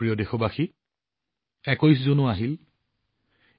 মোৰ প্ৰিয় দেশবাসী ২১ জুন সমাগত